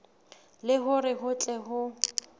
le hore ho tle ho